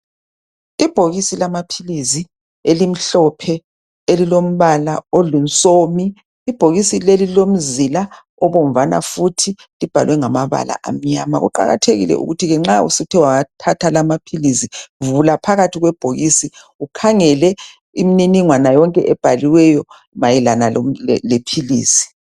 Ibhokisi lamaphilisi elimhlophe elilombala olusomi ,ibhokisi leli lilomzila obomvana futhi libhalwe ngamabala amnyama. Kuqakathekile ke ukuthi nxa suthe wathatha la amaphilisi, vula phakathi kwebhokisi ukhangele imniningwana yonke ebhaliweyo mayelana lephilisi.